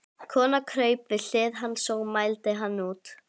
Konan kraup við hlið hans og mældi hann út.